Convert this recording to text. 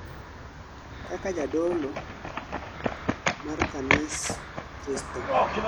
kaka jadolo mar kanis Kristo